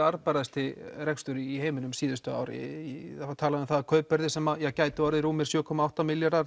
arðbærasti rekstur í heiminum síðustu ár það var talað um það að kaupverðið sem gæti orðið sjö komma átta milljarðar að